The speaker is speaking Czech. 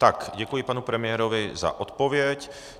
Tak, děkuji panu premiérovi za odpověď.